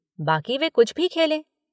बाक़ी वे कुछ भी खेलें।